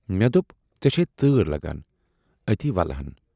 مے دوپ ژے چھےَ تٲر لگان، اَتی ولہٕ ہَن۔